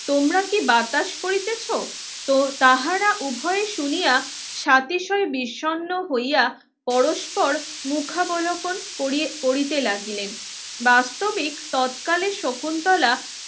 তোমরা কি বাতাস করিতেছ তাহারা উভয়ে শুনিয়া সাতিশয় বিষন্ন হইয়া পরস্পর মুখাবলোপন করিতে লাগিলেন বাস্তবিক তৎকালে শকুন্তলা